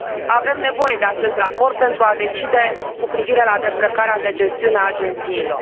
Avem nevoie de acest raport pentru a decide cu privire la descărcarea de gestiune a agențiilor.